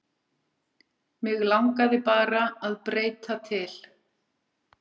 Mig langaði bara að breyta til.